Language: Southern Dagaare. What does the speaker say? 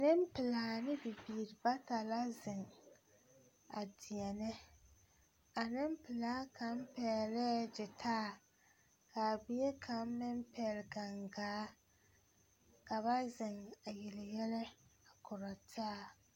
Nempelaa ne bibiiri bata la zeŋ a deɛnɛ a nempelaa kaŋ pɛglɛɛ gyitaayi k,a bie kaŋ meŋ pɛgle gangaa ka ba zeŋ a yele yɛlɛ a korɔ taa.